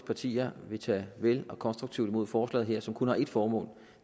partier vil tage vel og konstruktivt imod forslaget her som kun har ét formål